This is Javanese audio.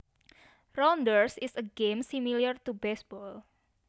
Rounders is a game similar to baseball